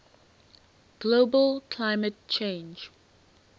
global climate change